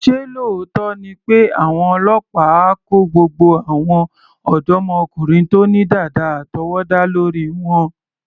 Ṣé lóòótọ́ ni pé àwọn ọlọ́pàá á kó gbogbo àwọn ọ̀dọ́mọkùnrin tó ní dàda àtọwọ́dá lórí wọn?